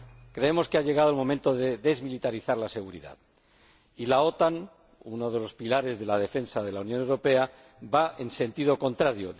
Creemos que ha llegado el momento de desmilitarizar la seguridad, y la OTAN, uno de los pilares de la defensa de la Unión Europea, va en sentido contrario.